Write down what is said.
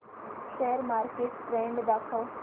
share market trend दाखव